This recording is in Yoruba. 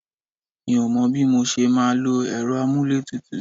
Mi ò mọ bí mo ṣe máa lò èrò amuletutu